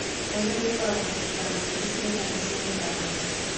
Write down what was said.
Nairobi ĩkoragwo na ciikaro nyingĩ cia nyamũ cia gĩthaka.